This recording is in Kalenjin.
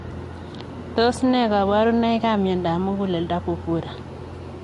Tos ne kabarunoik ap miondoop muguleldo pupura,